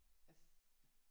Yes